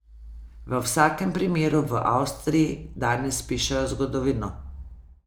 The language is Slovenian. V vsakem primeru v Avstriji danes pišejo zgodovino.